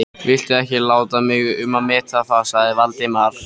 Viltu ekki láta mig um að meta það sagði Valdimar.